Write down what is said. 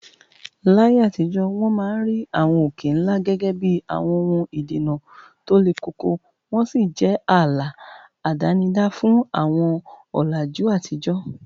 Láyé àtijọ́, wọ́n máa ń rí àwọn òkè ńlá gẹ́gẹ́ bí àwọn ohun ìdènà tó le koko, wọ́n sì jẹ́ ààlà àdánidá fún àwọn ọ̀làjú àtijọ́